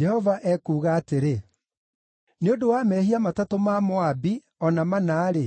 Jehova ekuuga atĩrĩ: “Nĩ ũndũ wa mehia matatũ ma Moabi, o na mana-rĩ,